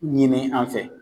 Ɲini an fɛ